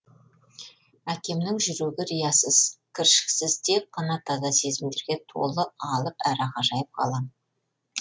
әкемнің жүрегі риясыз кіршіксіз тек қана таза сезімдерге толы алып әрі ғажайып ғалам